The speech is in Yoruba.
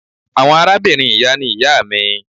Awọn arabinrin iya ni iya mi.